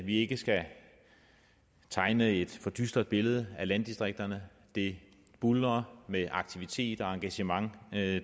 vi ikke skal tegne et for dystert billede af landdistrikterne det buldrer med aktivitet og engagement